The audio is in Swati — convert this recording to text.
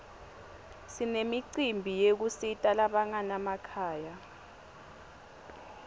sinemicimbi yekusita labanganamakhaya